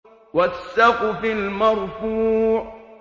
وَالسَّقْفِ الْمَرْفُوعِ